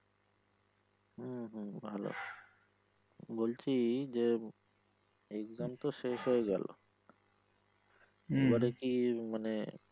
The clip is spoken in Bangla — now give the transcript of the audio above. হম হম ভালো বলছি যে exam তো শেষ হয়ে গেলো এবারে মানে।